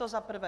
To za prvé.